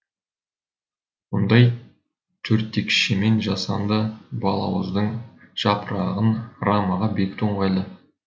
мұндай төрттекшемен жасанды балауыздың жапырағын рамаға бекіту ыңғайлы